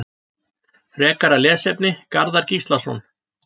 Frekara lesefni: Garðar Gíslason.